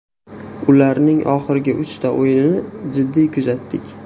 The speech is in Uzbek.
Ularning oxirgi uchta o‘yinini jiddiy kuzatdik.